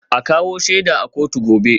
A kawo shaida a kotu gobe